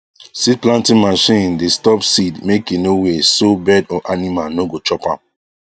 seed planting machine dey stop seed make e no waste so bird or animal no go chop am